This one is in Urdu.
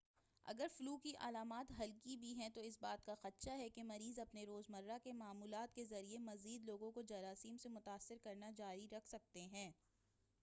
اگر فلو کی علامات ہلکی بھی ہے تو اس بات کا خدشہ ہے کہ مریض اپنے روز مرہ کے معمولات کے ذریعہ مزید لوگوں کو جراثیم سے متاثر کرنا جاری رکھ سکتے ہیں